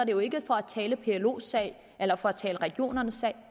jo ikke for at tale plos sag eller for at tale regionernes sag